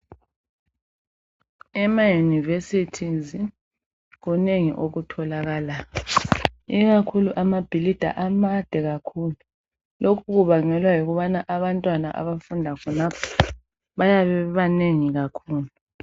Ema yunivesithi kunengi okutholakalayo, ikakhulu amabhilidi amade kakhulu. Lokhu kubangelwa yikubana abantwana abafunda khonapho ,bayabe bebanengi kakhulu.